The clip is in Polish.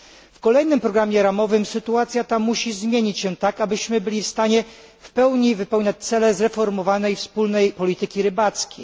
W kolejnym programie ramowym sytuacja ta musi zmienić się tak, abyśmy byli w stanie wypełniać cele zreformowanej wspólnej polityki rybackiej.